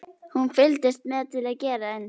Hún fylgdist með til að gera eins.